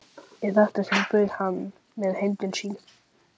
Í þetta sinn bauð hann mér heim til sín.